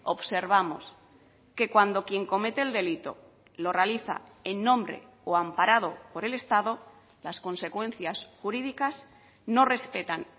observamos que cuando quien comete el delito lo realiza en nombre o amparado por el estado las consecuencias jurídicas no respetan